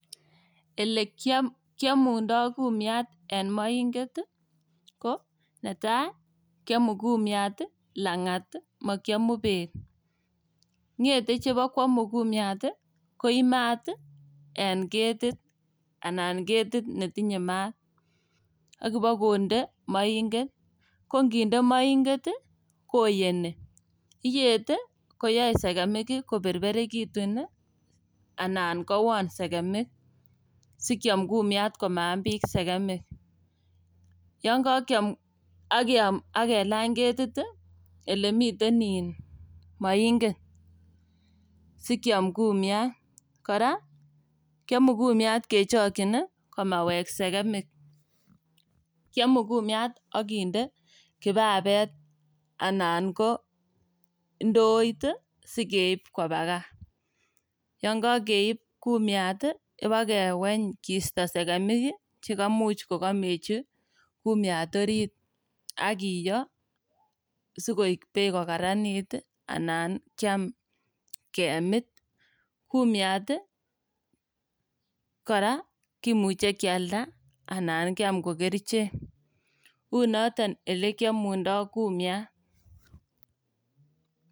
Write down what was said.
Elekiomundo kumiat en moinget ii kiomu kumiat lang'at ii mokiomu bet. Ng'ete chebokwomu kumiat ii koib maat ii en ketit anan ketit netinye maat ak ibokonde moinget. kokinde moinget ii koyeni, iyet ii koyoe sekemik koberberekitun ii anan kowon sekemik sikiom kumiat komaam biik sekemik. Yon kokiom ak iyam ak kelany ketit ii elemiten moinget ii sikiom kumiat. Kora kiomu kumiat kechokyin ii komawek sekemik, kiomu kumiat ak kinde kipapet anan ko ndoit ii sikeib koba gaa. Yon kokeib kumiat ii ibakeweny kisto sekemik ii chekamuch kokomechi kumiat orit ak kiyo sikoik beek kokararanit ii anan kiam kemit. Kumiat kora kimuche kialda anan kiam kokerichek, unoton olekiomundo kumiat.